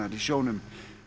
í sjónum